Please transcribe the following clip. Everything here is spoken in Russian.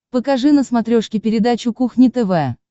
покажи на смотрешке передачу кухня тв